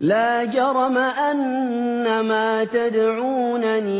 لَا جَرَمَ أَنَّمَا تَدْعُونَنِي